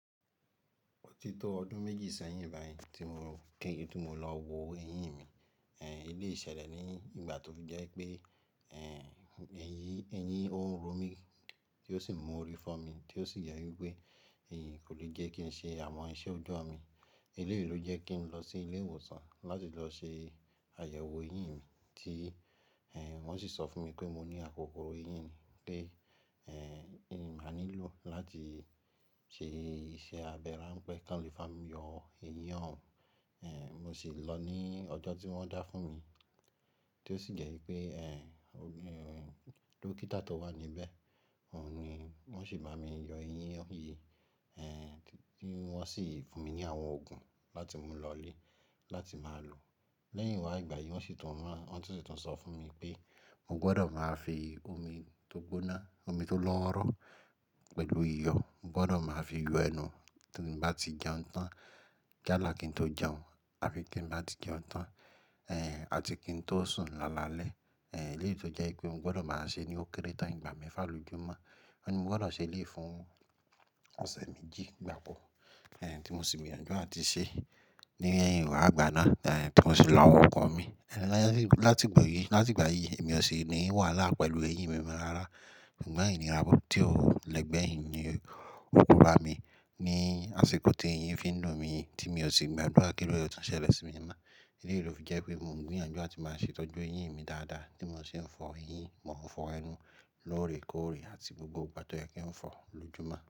Òtítọ́ ọdún méjì sẹ́yìn báyìí tí mo kí n tó lọ wo eyín mi. Ẹ̀ e lè ṣẹlẹ̀ ní ìgbà tó jẹ́ pé ẹ̀ ẹ́ eyin ó ń ro mí tó sì mú orí fọ́ mi tó sì jẹ́ wípé èyí kò le jẹ́ kí n ṣe àwọn iṣẹ́ ọjọ́ mi. Eléyìí ló jẹ́ kí n lọ sí ilé ìwòsàn láti lọ ṣe àyẹ̀wò eyín mi tí wọ́n sì sọ fún mi pé mo ní àkókòro eyín ni pe èyí máa nílò láti ṣe iṣẹ́ abẹ́ráńpẹ́ kí wọ́n lè ba mi yọ eyín òun. Ẹ̀ mo sì lọ ní ọjọ́ tí wọ́n dá fún mi tó sì jẹ́ wípé ẹ̀ ògún dókítà tó wà níbẹ̀ òun ni wọ́n sì bá mi yọ eyín yìí. Ẹ̀ wọ́n sì fún mi ní àwọn òògùn láti mú lọlé láti máa lò. Lẹ́yìn wá ìgbà yìí wọ́n sì tún rán wọn sì tún sọ fún mi pé mo gbọdọ̀ máa fi omi tó gbóná, omi tó lọ́ọ̀wọrọ́ pẹ̀lú iyọ̀, mo gbọdọ̀ máa fi yọ ẹnu tí mo bá ti jẹun tán yálà kí n tó jẹun àbi kí n bá ti jẹun tán. Ẹ̀ àti kí n tó sùn lálalẹ́. Ẹ̀ eléyìí ló jẹ́ wípé mo gbọdọ̀ máa ṣe ní ó kéré tán ìgbà mẹ́fà lójúmọ́. Won ni mo gbọdọ̀ ṣe lé fún ọ̀sẹ̀ méjì gbaàbọ̀. Ẹ̀ tí mo sì gbìyànjú àti ṣe. Ní ẹ́yìn wá ìgbà náà ẹ̀ tí mo sì lọ àwọn ọkọ̀ mi. Ẹ̀ láti ìgbà yìí, láti ìgbà yìí èmi ò ṣe ní wàhálà pẹ̀lú eyín mi mọ́ rárá. Sugbọ́n ìní ira tí ò lẹ́gbẹ̀ẹ́ yìí ni òǹkọ̀bá mi. Ni àsìkò tí eyín fi ń dùn mí yí ti mi ò sì gbàdúrà kí ó ruẹ̀ tun ṣẹlẹ̀ sí mi mọ́. Eléyìí ló fi jẹ́ wípé mo ń gbìyànjú àti máa ṣètọ́jú eyín mi dáadáa bí mo sì ń fọ eyín, mò ń fọ ẹnu lóòrèkóòrè àti gbogbo ìgbà tó yẹ kí n fọ lójúmọ́.